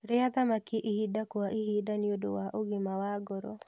Rĩa thamaki ihinda o ihinda nĩũndũ wa ũgima wa ngoro